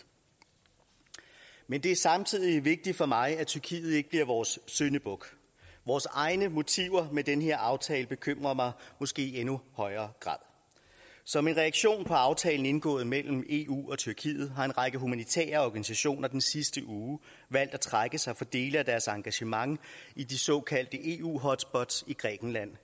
men det er samtidig vigtigt for mig at tyrkiet ikke bliver vores syndebuk vores egne motiver med den her aftale bekymrer mig måske i endnu højere grad som en reaktion på aftalen indgået mellem eu og tyrkiet har en række humanitære organisationer den sidste uge valgt at trække sig fra dele af deres engagement i de såkaldte eu hotspots i grækenland